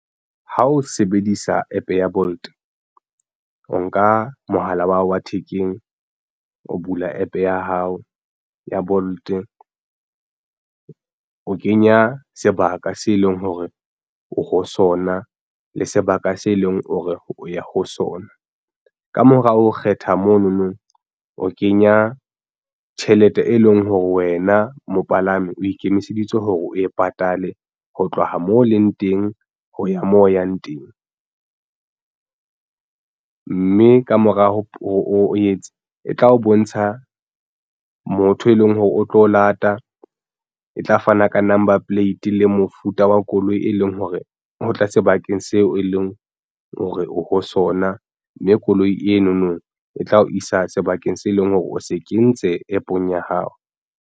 Ha o sebedisa APP ya Bolt o nka mohala wa hao wa thekeng o bula APP ya hao ya Bolt o kenya sebaka se leng hore oho sona le sebaka se leng o ya ho sona. Kamora o kgetha mono no o kenya tjhelete e leng hore wena mopalami o ikemiseditse hore o e patale ho tloha moo o leng teng ho ya moo o yang teng, mme ka mora o etse e tla o bontsha motho e leng hore o tlo lata e tla fana ka number plate le mofuta wa koloi, e leng hore o tla sebakeng seo e leng hore o ho sona mme koloi eno no e tla o isa sebakeng se leng hore o se ke ntse APP-ong ya hao.